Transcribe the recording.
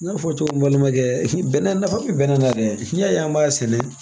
N y'a fɔ cogo min balimakɛ bɛnɛ nafa bɛ bɛnnɛ na dɛ n'i y'a ye an b'a sɛnɛ